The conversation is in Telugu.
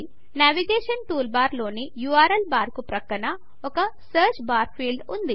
నావిగేషన్ టూల్బార్ లోని ఉర్ల్ బార్కు ప్రక్కన ఒక సర్చ్ బార్ ఫీల్డ్ ఉంది